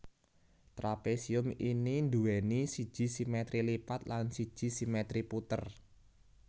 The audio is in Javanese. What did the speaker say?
Trapésium ini nduwèni siji simètri lipat lan siji simètri puter